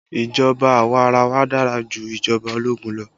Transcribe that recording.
Ìjọba awarawa dára ju ìjọba ológun lọ